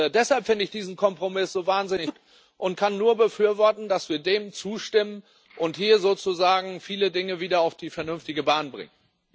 Deshalb finde ich diesen Kompromiss so wahnsinnig gut und kann nur befürworten, dass wir dem zustimmen und hier sozusagen viele Dinge wieder auf die vernünftige Bahn bringen.